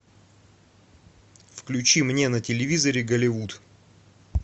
включи мне на телевизоре голливуд